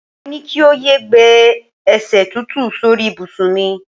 Mo ní kí o yé gbé e̩sè̩ tútù sórí ìbùsùn mi.